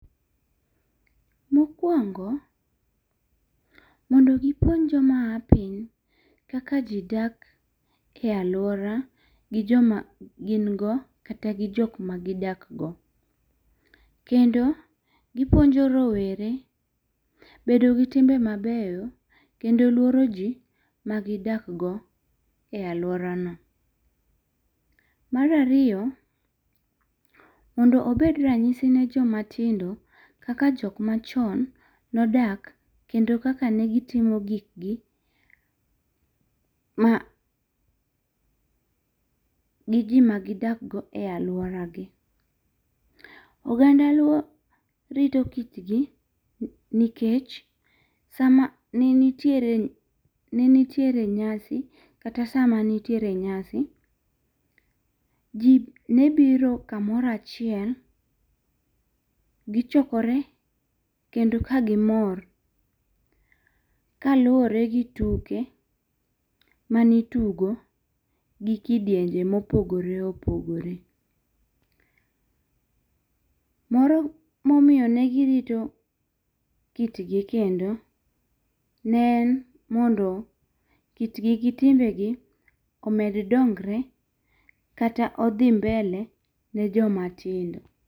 Mokuongo, mondo gi kony jo ma ya piny kaka ji dak e aluora goi jo ma gin go kata gi jo ma gi dak go .Kendo gi puonjo rowere bedo gi timbe mabeyo kendo luoro ji ma gi dak go e aluora no .Mar ariyo, mondo obed ranyisi ne jo ma tindo kaka jo ma chon ne odak kendo kaka ne gi timo gik gi ma Gi ji ma gi dak go e aluora gi. Oganda luo rito kit gi nikech sa ma ne nitiere nyasi kata sa ma nitiere nyasi ji ne biro ka moro achiel gi chokore kendo ka gi mor ka luore gi tuke ma ni itugo gi ji bende ma opogore opogore. Moro ma omiyo ne goi rito kit gi kendo ne mondo kit gi gi timebgi omed dongre kendo odhi mbele ne jo ma tindo.